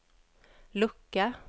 lucka